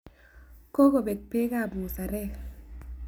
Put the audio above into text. Kokobek beekab musarek.